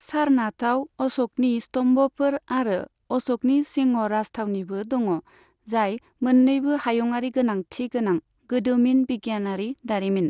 सारनाथआव अश'कनि स्तम्भ'फोर आरो अश'कनि सिंह' राजथावनिबो दङ, जाय मोन्नैबो हायुङारि गोनांथि गोनां गोदोमिन बिगियानारि दारिमिन।